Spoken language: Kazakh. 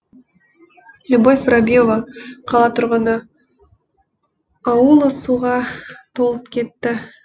любовь воробьева қала тұрғыны ауылы суға толып кетті